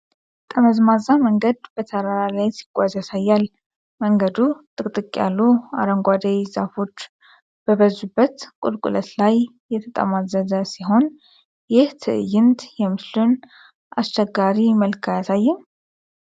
ጠመዝማዛ መንገድ በተራራ ላይ ሲጓዝ ያሳያል፤ መንገዱ ጥቅጥቅ ያሉ አረንጓዴ ዛፎች በበዙበት ቁልቁለት ላይ የተጠማዘዘ ሲሆን፣ ይህ ትዕይንት የምስሉን አስቸጋሪ መልክ አያሳይም?